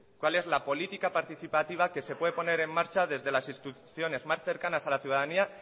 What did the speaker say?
cuál es la política participativa que se puede poner en marcha desde las instituciones más cercanas a la ciudadanía